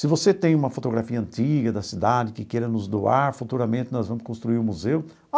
Se você tem uma fotografia antiga da cidade que queira nos doar, futuramente nós vamos construir um museu.